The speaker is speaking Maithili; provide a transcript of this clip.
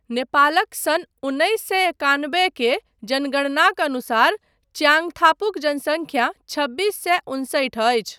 नेपालक सन् उन्नैस सए एकानबे के जनगणनाक अनुसार च्याङथापुक जनसंख्या छब्बिस सए उनसठि अछि।